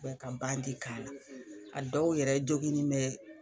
ka k'a la a dɔw yɛrɛ joginnin bɛ